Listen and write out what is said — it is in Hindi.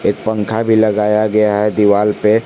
एक पंखा भी लगाया गया है दीवाल पे।